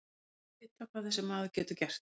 Allir vita hvað þessi maður getur gert.